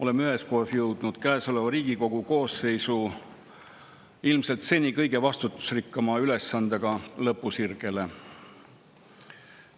Oleme üheskoos jõudnud käesoleva Riigikogu koosseisu seni ilmselt kõige vastutusrikkama ülesandega lõpusirgele.